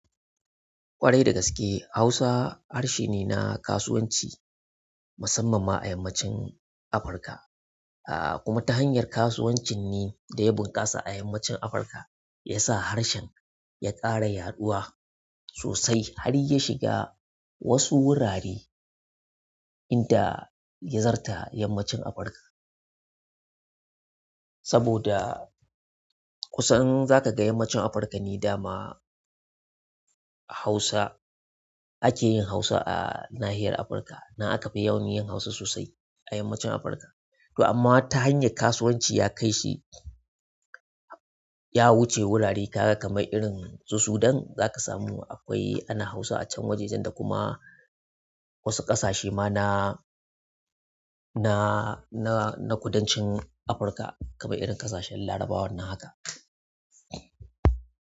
Ƙwarai da gaske Hausa harshe ne na kasuwanci musamman ma a yammacin Afirka, a kuma ta hanyar kasuwancin ne da ya bunƙasa a yammacin Afirka ya sa harshen ya ƙara yaɗuwa sosai har ya shiga wasu wurare inda ya zarta yammacin Afirka. Saboda kusan za kaga yammacin Afirka ne dama ake yin Hausa a nahiyar Afirka. Nan aka fi yawan yin Hausa sosai a yammacin Afirka. To amma ta hanyar kasuwanci ya kai shi ya wuce wurare kaga kamar irin su Sudan za ka samu ana Hausa a can wajejen da kuma wasu ƙasashe ma na kudancin Afirka kaman irin ƙasashen larabawan nan haka.